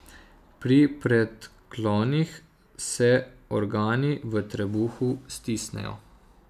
Pri predklonih se organi v trebuhu stisnejo.